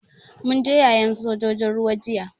Mun je yayen sojojin ruwa jiya.